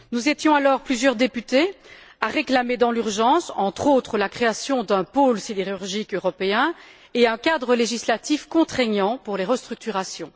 Nous étions alors plusieurs députés à réclamer dans l'urgence, entre autres, la création d'un pôle sidérurgique européen et un cadre législatif contraignant pour les restructurations.